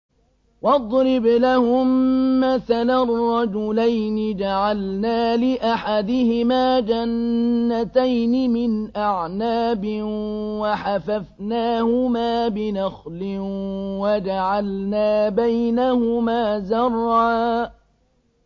۞ وَاضْرِبْ لَهُم مَّثَلًا رَّجُلَيْنِ جَعَلْنَا لِأَحَدِهِمَا جَنَّتَيْنِ مِنْ أَعْنَابٍ وَحَفَفْنَاهُمَا بِنَخْلٍ وَجَعَلْنَا بَيْنَهُمَا زَرْعًا